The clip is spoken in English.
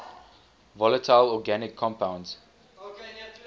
volatile organic compounds